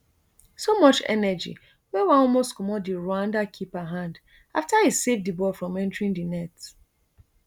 so much energy wey wan almost comot di rwanda keeper hand afta e save di ball from entering di net